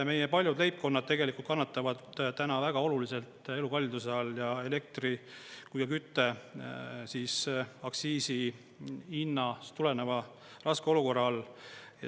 Meie paljud leibkonnad tegelikult kannatavad täna väga oluliselt elukalliduse all, elektri- ja kütteaktsiisist ja hinnast tuleneva raske olukorra all.